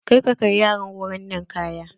Kar ka kai yaran wurin ninkaya!